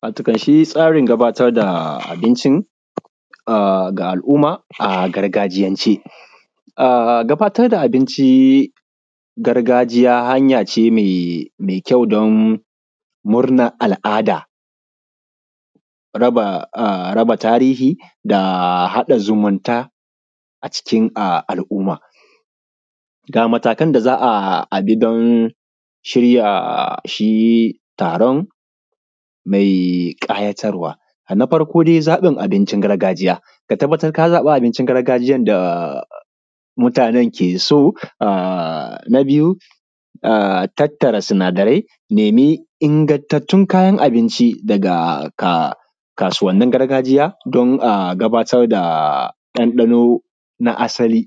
A taƙaice tsarin gabatar da abincin a ga al`umma a gargajiyance a gabatar da abincin gargajiya hanya ce mai kyau don murnan al`ada, raba tarihi da haɗa zumunta a cikin a al`umma, ga matakan da zabi don shirya shi taron mai ƙayitarwa, na farko dai zaɓin abincin gargajiya, ka tabbatar ka zaɓi abincin gargajiyan da mutanen ke so, a na biyu, a tattara sinadarai, nemi ingattattun kayan abinci daga kasuwanin gargajiya don a gabatar da ɗanɗano na asali,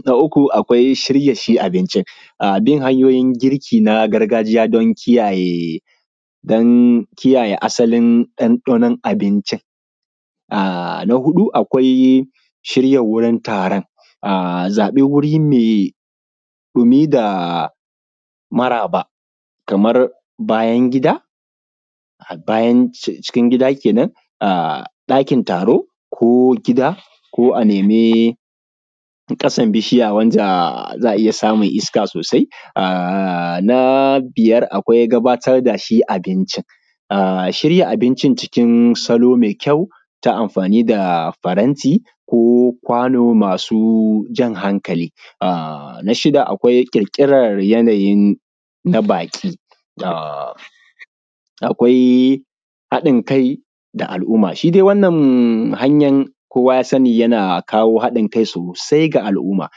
ɗanɗanon abincin, a na huɗu akwai shirya wurin taron, a zaɓe wuri mai ɗumi da maraba kamar bayan gida bayan cikin gida kenan a ɗakin taro, ko gida ko a nemi ƙasan bishiya wanda za a iya samun iska sosai, a na biyar, akwai gabatar da shi abincin, a shirya abincin shi cikin salo mai kyau ta amfani da faranti, ko kwano masu jan hankali, a na shida akwai ƙirƙiran yanayin na baƙi a akwai haɗin kai da al`umma shi dai wannan hanyan kowa ya sani yana kawo haɗin kai sosai ga al`umma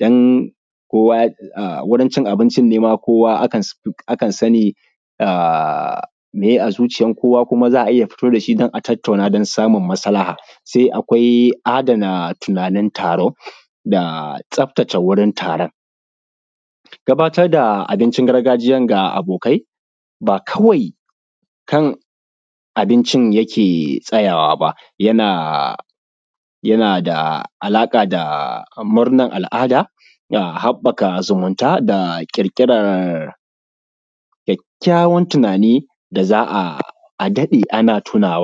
dan kowa a wurin cin abincin ne ma kowa akan sa akan sani a meye a zuciyan kowa kuma za a iya fito da shi dan a tattauna dan samun maslaha, sai akwai adana tunanin taro da tsaftace wurin taron, gabatar da abincin gargajiyan ga abokai ba kawai kan abincin yake tsayawa ba yana yana da alaƙa da murnan al`ada a haɓɓaka zumunta da ƙirƙirar kyakkyawan tunani da za a daɗe ana tuna.